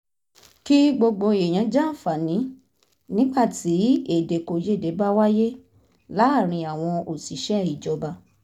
kí gbogbo èèyàn jàǹfààní nígbà tí èdèkòyédè bá wáyé láàárín àwọn òṣìṣẹ́ ìjọba